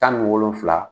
Tan ni wolonfula